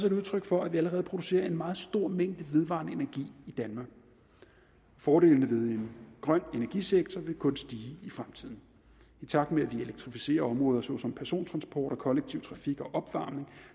et udtryk for at vi allerede producerer en meget stor mængde vedvarende energi i danmark fordelene ved en grøn energisektor vil kun stige i fremtiden i takt med at vi elektrificerer områder såsom persontransport og kollektiv trafik og opvarmning